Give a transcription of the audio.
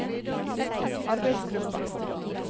arbeidsgruppa